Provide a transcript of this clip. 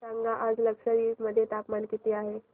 सांगा आज लक्षद्वीप मध्ये तापमान किती आहे